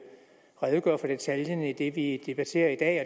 redegøre for detaljerne i det vi debatterer i dag